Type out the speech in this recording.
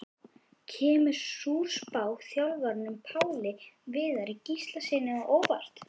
Kemur sú spá þjálfaranum Páli Viðari Gíslasyni á óvart?